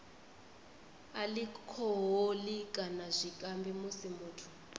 alikhoholi kana zwikambi musi muthu